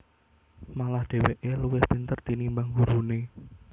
Malah dheweke luwih pinter tinimbang gurune